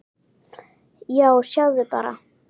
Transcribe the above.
Já, sjáðu bara!